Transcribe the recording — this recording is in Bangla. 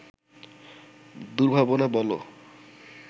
দুর্ভাবনা বলো